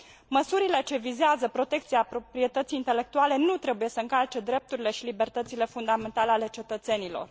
Măsurile ce vizează protecția proprietății intelectuale nu trebuie să încalce drepturile și libertățile fundamentale ale cetățenilor.